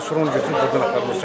Bunu götürüb burdan aparıb.